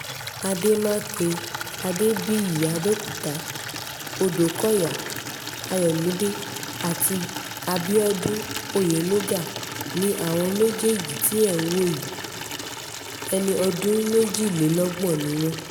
àdèmàkè adébíyìàbẹ̀òkúta ọdọ́kọ̀yà ayọ̀mídé àti abiodun oyenuga ni àwọn méjèèjì tí ẹ̀ ń wò yìí ẹni ọdún méjìlélọ́gbọ̀n ni wọ́n